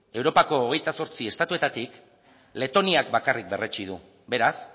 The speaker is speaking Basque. europako hogeita zortzi estatuetatik letoniak bakarrik berretsi du beraz